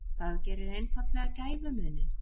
Það gerir einfaldlega gæfumuninn.